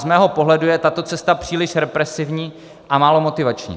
Z mého pohledu je tato cesta příliš represivní a málo motivační.